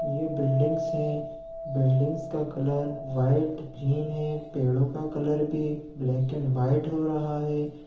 ये बिल्डिंगस है बिल्डिंगस का कलर वाइट ग्रीन है पेड़ो का कलर भी ब्लैक एण्ड व्हाइट हो रहा है।